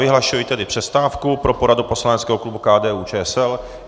Vyhlašuji tedy přestávku pro poradu poslaneckého klubu KDU-ČSL.